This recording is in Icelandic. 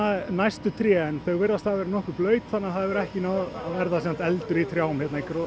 næstu tré en þau virðast hafa verið nokkuð blaut þannig að það hefur ekki náð að verða eldur í trjám hérna